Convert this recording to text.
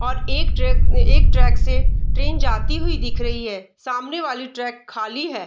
और एक ट्रिप एक ट्रैक से ट्रेन जाती हुई दिख रही है सामने वाली ट्रक खाली है।